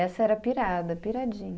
Essa era pirada, piradinha.